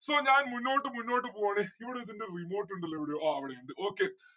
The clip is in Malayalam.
so ഞാൻ മുന്നോട്ട് മുന്നോട്ട് പോവാണ് ഇവിടെ ഇതിന്റെ remote ഇണ്ടല്ലോ എവിടെയോ ആ ഇവിടെ ഇണ്ട് okay